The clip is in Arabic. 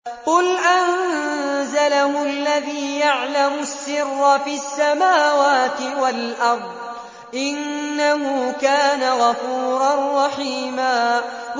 قُلْ أَنزَلَهُ الَّذِي يَعْلَمُ السِّرَّ فِي السَّمَاوَاتِ وَالْأَرْضِ ۚ إِنَّهُ كَانَ غَفُورًا رَّحِيمًا